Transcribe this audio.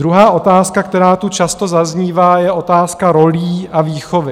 Druhá otázka, která tu často zaznívá, je otázka rolí a výchovy.